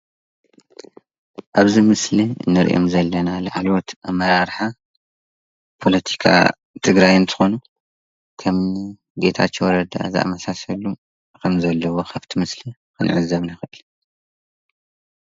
ኣብእዚ ምስሊ ንርኦ ዘለና ላዕለዎት ኣመራራሓ ፖለትካ ትግራይ እንትኮኑ ከም እኒ ጌታቸው ረዳ ዝኣመሰሉ ከም ዘለው ካፍቲ ምስሊ ንዕዘብ ንክእል።